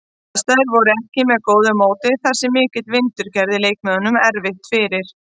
Aðstæður voru ekki með góðu móti þar sem mikill vindur gerði leikmönnum erfitt fyrir.